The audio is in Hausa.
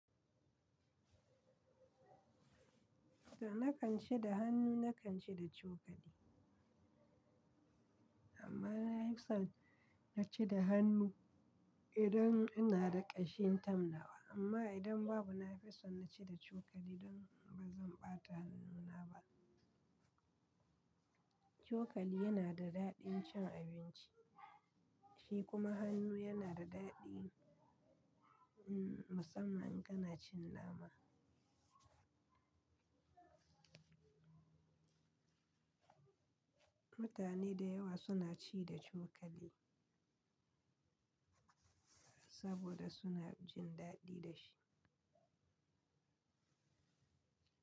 To, na kan ci da hannu, na kan ci da cokali. Amma na fi son na ci da hannu idan ina da ƙashin tamnawa. Amma idan babu, na fi son na ci da cokali don ba zan ɓata hannuna ba. Cokali yana da daɗin cin abinci, shi kuma hannu yana da daɗi, umm, musamman in kana cin nama. Mutane da yawa suna ci da cokali saboda suna jin daɗi da shi.